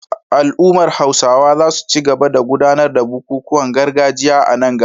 Al’ummar Hausawa za su ci gaba da gudanar da bukukuwan gargajiya a nan gaba